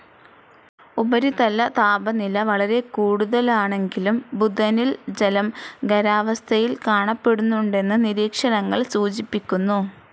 ഉപരിതലതാപനില വളരെക്കൂടുതലാണെങ്കിലും ബുധനിൽ ജലം ഖരാവസ്ഥയിൽ കാണപ്പെടുന്നുണ്ടെന്ന് നിരീക്ഷണങ്ങൾ സൂചിപ്പിക്കുന്നു.